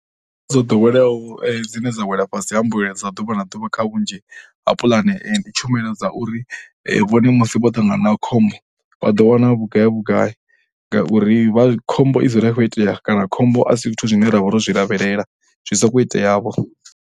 Dzo ḓoweleaho dzine dza wela fhasi ha mbuelo dza ḓuvha na ḓuvha kha vhunzhi ha pulane ndi tshumelo dza uri vhone musi vho ṱangana na khombo vha ḓo wana vhugai vhagai. Ngauri vha, khombo i dzula i khou itea kana khombo a si zwithu zwine ra vha ro zwi lavhelela zwi sokou iteavho.